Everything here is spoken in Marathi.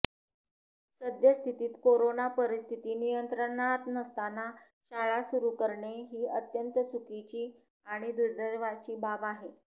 सद्यस्थितीत कोरोना परिस्थिती नियंत्रणात नसताना शाळ सुरू करणे ही अत्यंत चुकीची आणि दुर्दैवाची बाब आहे